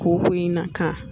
Kooko in na kan